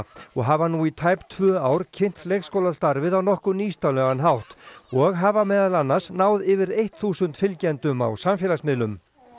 og hafa nú í tæp tvö ár kynnt leikskólastarfið á nokkuð nýstárlegan hátt og hafa meðal annars náð yfir þúsund fylgjendum á samfélagsmiðlum